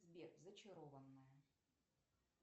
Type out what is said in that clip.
сбер зачарованная